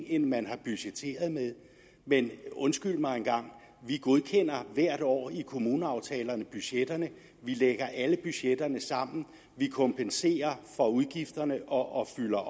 end man har budgetteret med men undskyld mig engang vi godkender hvert år i kommuneaftalerne budgetterne vi lægger alle budgetterne sammen vi kompenserer for udgifterne og fylder